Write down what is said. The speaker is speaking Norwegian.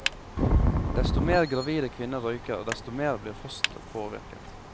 Desto mer gravide kvinner røyker, desto mer blir fosteret påvirket.